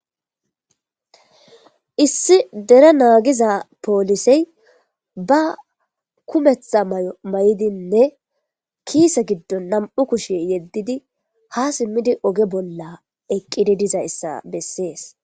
Issi dere naagiza poolisey ba kumeththa may'o may'idinne kiise giddon nam'u kushe yeddidi ha simmidi oge bolla eqqidi diza yssa bessees.